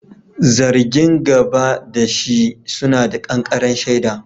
Zargin gaba da shi suna da ƙanƙaren shaida.